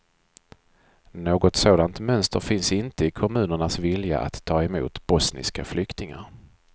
Något sådant mönster finns inte i kommunernas vilja att ta emot bosniska flyktingar.